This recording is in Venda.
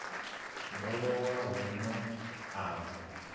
ḓo lowa huno a wa